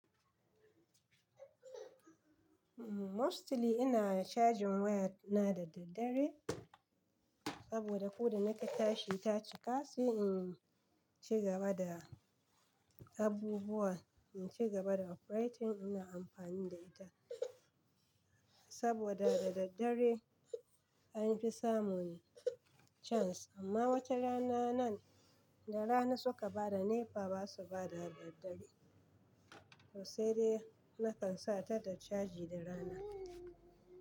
Mostly ina cajin wayar na da daddare saboda ko da nake tashi ta cika sai in ci gaba da abubuwa, in ci gaba da operating ina amfani da ita. Saboda da daddare an fi samun chance amma wata rana nan da rana suka bada NEPA ba su bada daddare. To sai dai nakan sa ta ta caji da rana.